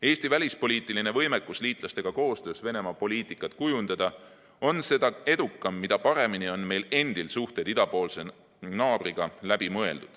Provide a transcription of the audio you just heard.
Eesti välispoliitiline võimekus koostöös liitlastega Venemaa-poliitikat kujundada on seda edukam, mida paremini on meil endil suhted idapoolse naaberriigiga läbi mõeldud.